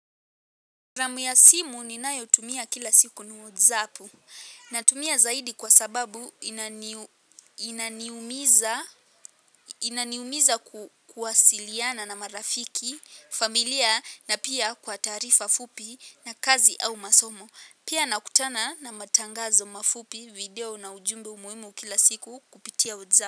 Ramu ya simu ni nayo tumia kila siku ni wadzapu. Natumia zaidi kwa sababu inaniu inaniumiza kuwasiliana na marafiki, familia na pia kwa taarifa fupi na kazi au masomo. Pia nakutana na matangazo mafupi video na ujumbe umuimu kila siku kupitia wadzapu.